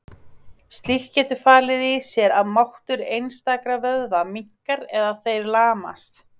Slíkt getur falið í sér að máttur einstakra vöðva minnkar eða þeir lamast.